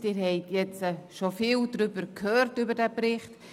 Sie haben jetzt bereits viel über den Bericht gehört.